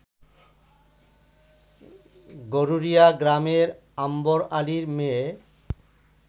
গরুরিয়া গ্রামের আম্বর আলীর মেয়ে